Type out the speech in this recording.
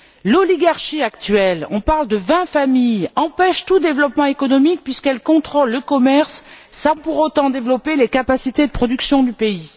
L'oligarchie actuelle on parle de vingt familles empêche tout développement économique puisqu'elle contrôle le commerce, sans pour autant développer les capacités de production du pays.